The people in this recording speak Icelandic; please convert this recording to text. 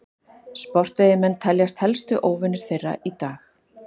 sportveiðimenn teljast helstu óvinir þeirra í dag